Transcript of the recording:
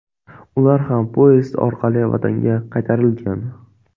Ular ham poyezd orqali vatanga qaytarilgan .